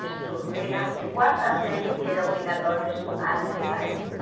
Estudo era de quarta série que era obrigatório estudar nessa época.